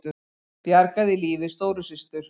Bjargaði lífi stóru systur